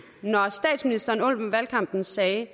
når statsministeren under valgkampen sagde at